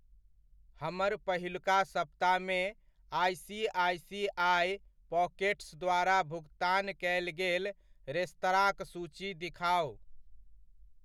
हमर पहिलुका सप्ताह मे आईसीआईसीआई पॉकेट्स द्वारा भुगतान कयल गेल रेस्तरांक सूची दिखाउ।